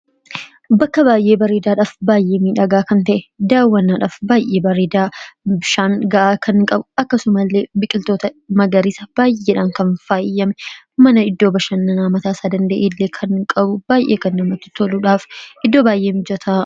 Bakka baayyee bareedaadhaaf baay'ee miidhagaa kan ta'e daawwanaadhaaf baay'ee bareedaa. Bishaan ga'aa kan qabu akkasuma illee biqiltoota magariisa baayeedhaan kan faayyame mana iddoo bishannanaa mataa isaa danda’e illee kan qabu baay'ee kan namatI toluudhaafI iddoo baay'ee mijataa.